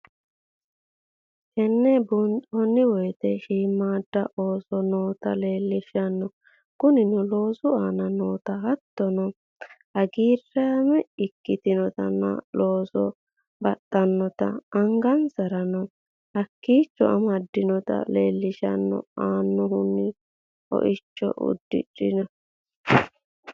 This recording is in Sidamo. Teene buunxemowete shiimada osso noota lelishanno kuunino loosu anna noota haaotono haagrame ekkinotana loosono baaxanota aangansaranno hakkicho aamadnota lelishanno aanahono hoicho uudrenno.